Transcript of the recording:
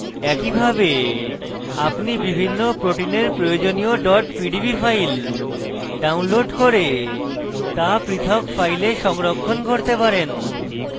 একইভাবে আপনি বিভিন্ন proteins প্রয়োজনীয় pdb files download করে তা পৃথক files সংরক্ষণ করতে পারেন